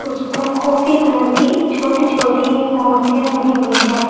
उस पर coffee colour की छोटी छोटी मूर्तियां बनी हुई है।